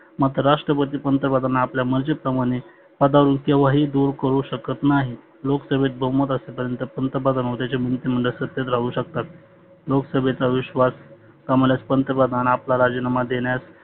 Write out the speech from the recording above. मात्र राष्ट्रपती पंतप्रधान आपल्या मर्जी प्रमाने पदावरुण केव्हाही दुर करु शकत नाही. लोकसभेत बहुमत असे पर्यंत पंतप्रधान व त्याचे मंत्री मंडळ सत्तेत राहु शकतात. लोकसभेचा विश्वास गमवल्यास पंतप्रधान आपला राजीनामा देण्यास